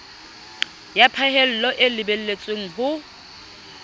ya phahello e lebelletswe ho